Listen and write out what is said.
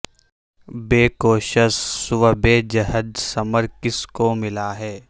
بے کوشس و بے جہد ثمر کس کو ملا ہے